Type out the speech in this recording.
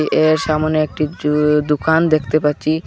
এর সামোনে একটি জু দুকান দেখতে পাচ্ছি।